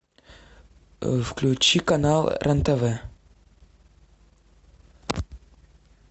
включи канал рен тв